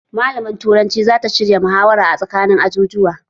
Malamar turanci zata shirya muhawara a tsakanin ajujuwa